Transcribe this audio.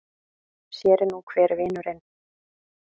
Sér er nú hver vinurinn!